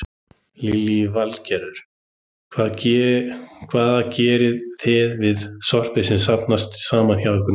Lillý Valgerður: Hvað gerið þið við sorpið sem safnast saman hjá ykkur núna?